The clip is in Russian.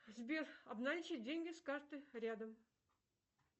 сбер обналичить деньги с карты рядом